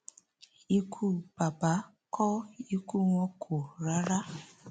ikú bàbà kó ikú wọn kò rárá